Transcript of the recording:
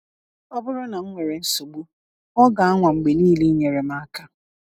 Ọ bụrụ na m nwere nsogbu, ọ ga-anwa mgbe niile inyere m aka.